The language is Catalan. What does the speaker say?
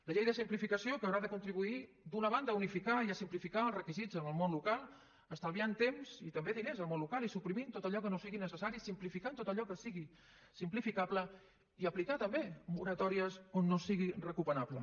la llei de simplificació que haurà de contribuir d’una banda a unificar i a simplificar els requisits en el món local estalviant temps i també diners al món local i suprimint tot allò que no sigui necessari simplificant tot allò que sigui simplificable i aplicar també moratòries on no sigui recomanable